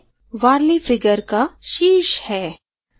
यह warli figure का शीर्ष है